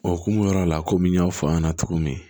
O hokumu yɔrɔ la komi n y'a fɔ a ɲɛna cogo min